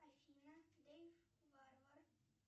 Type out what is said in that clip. афина дэйв варвар